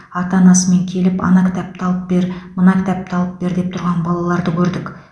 ата анасымен келіп ана кітапты алып бер мына кітапты алып бер деп тұрған балаларды көрдік